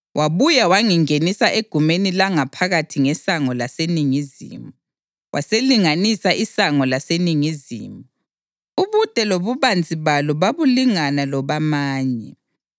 Wabuya wangingenisa egumeni langaphakathi ngesango laseningizimu, waselinganisa isango laseningizimu; ubude lobubanzi balo babulingana lobamanye.